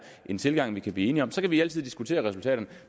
en tilgang vi kunne blive enige om så kan vi altid diskutere resultaterne